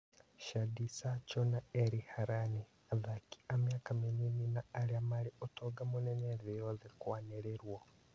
Shadi Sacho na Eri Harani: Athaki a mĩaka mĩnini na arĩa marĩ ũtonga mũnene thĩ yothe kũanĩrĩrwo